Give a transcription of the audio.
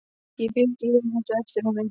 Ég fylgi í humátt á eftir honum.